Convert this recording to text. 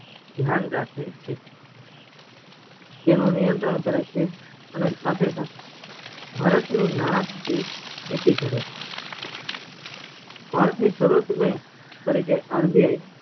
ધ્યાન રાખે છે તેનું નીયંત્રણ કરે છે અને સાથે સાથે ભારત નાણકીય નીતિ કરે છે ભારત ની સર્વોચ bank તરીકે RBI